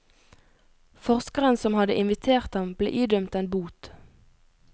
Forskeren som hadde invitert ham, ble idømt en bot.